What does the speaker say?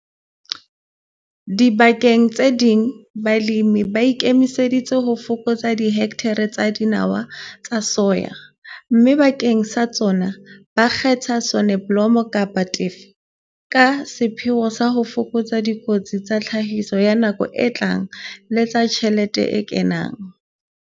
Dibakeng tse ding balemi ba ikemiseditse ho fokotsa dihekthara tsa dinawa tsa soya, mme bakeng sa tsona ba kgetha soneblomo kapa teffe ka sepheo sa ho fokotsa dikotsi tsa tlhahiso ya nako e tlang le tsa tjhelete e kenang.